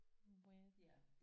Width